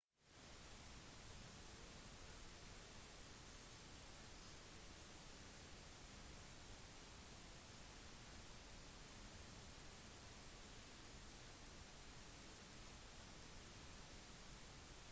tornadoer treffer bare et lite sted sammenlignet med andre kraftige stormer men de kan i tillegg ødelegge alt de kommer over